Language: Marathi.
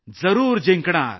जरूर जिंकणार